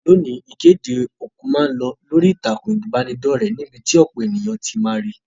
Loni, ìkéde òkú ma n lo lórí ìtàkùn ìbánidọ́rẹ̀ níbí ti ọ̀pọ̀ éyàn ti ma ri